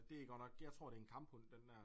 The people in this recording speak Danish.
Og det godt nok jeg tror det er en kamphund den der